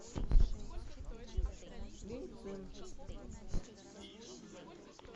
линьцин